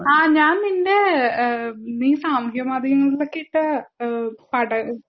ആ ഞാൻ നിന്നെ ഇഹ് നീ സാമൂഹ്യ മാധ്യമങ്ങളിൽ ഒക്കെ ഇട്ട ഈഹ് പടം